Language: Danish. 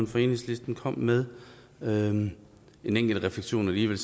fra enhedslisten kom med med en enkelt refleksion alligevel